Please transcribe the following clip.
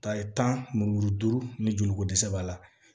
Ta ye tan mulu ni joli ko dɛsɛ b'a la